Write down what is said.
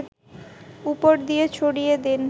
উপর দিয়ে ছড়িয়ে দিন